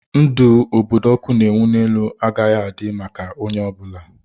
Ndụ obodo ọkụ na-enwu n'elu agaghị adị maka onye ọ bụla.